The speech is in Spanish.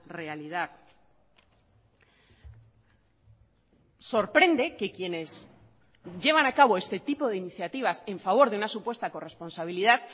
realidad sorprende que quienes llevan a cabo este tipo de iniciativas en favor de una supuesta corresponsabilidad